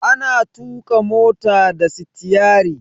Ana tuƙa mota da stiyari.